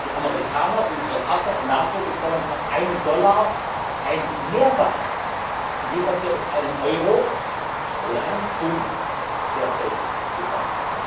Die Amerikaner unsere Partner in der NATO bekommen für einen Dollar ein Mehrfaches von dem, was wir aus einem Euro oder einem Pfund derzeit bekommen.